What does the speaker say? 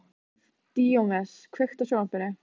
Díómedes, kveiktu á sjónvarpinu.